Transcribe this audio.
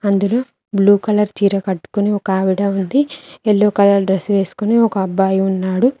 అందులో blue colour చీర కట్టుకొని ఒకావిడ ఉంది ఎల్లో కలర్ డ్రెస్ వేసుకొని ఒకబ్బాయ్ ఉన్నాడు.